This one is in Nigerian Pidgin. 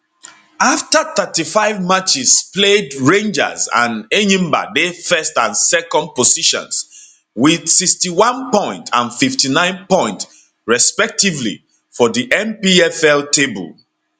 afta 35 matches played rangers and enyimba dey first and second positions wit 61 points and 59 points respectively for di npfl table